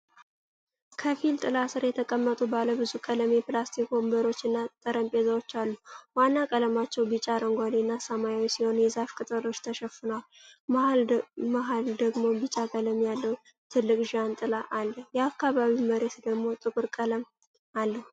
ከፊል ጥላ ስር የተቀመጡ ባለብዙ ቀለም የፕላስቲክ ወንበሮች እና ጠረጴዛዎች አሉ። ዋና ቀለማቸው ቢጫ፣ አረንጓዴና ሰማያዊ ሲሆን፣ በዛፍ ቅጠሎች ተሸፍነዋል። በመሃል ደግሞ ቢጫ ቀለም ያለው ትልቅ ዣንጥላ አለ። የአካባቢው መሬት ደግሞ ጥቁር ቀለም አለው።